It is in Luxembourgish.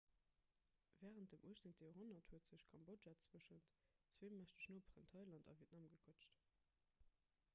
wärend dem 18 joerhonnert huet sech kambodja tëschent zwee mächteg noperen thailand a vietnam gequëtscht